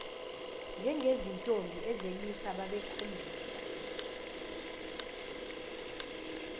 njengezintombi ezelusa babekhombisa